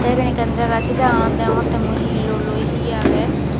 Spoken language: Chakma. the iben ekkan jaga se jagaganot degongotte mui he luoloi he agey.